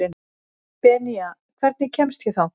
Benía, hvernig kemst ég þangað?